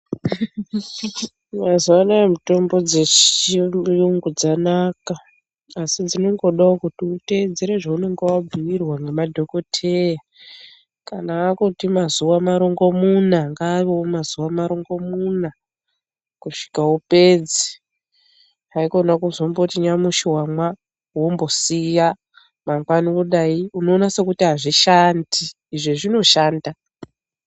Mazuwa anaa mitombo dzechiyungu yungu dzanaka asi dzinongodawo kuti uteedzere zveunenge wabhuirwa ngemadhokoteya kana akuti mazuwa marongomuna ngaavewo mazuwa maringomuna kusvika upedze haikona kuzomboti nyamushi wamwa wombosiya mangwani wodai unoona sekuti azvishandi izvozvinoshanda.